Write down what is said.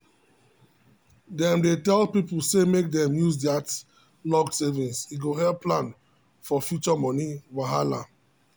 dem dey tell people say make dem use that locked savings e go help plan for future money wahala.